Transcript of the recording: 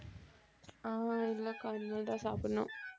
அஹ் இல்லை அக்கா இனிமேல்தான் சாப்பிடணும்